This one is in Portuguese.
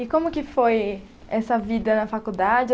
E como que foi essa vida na faculdade?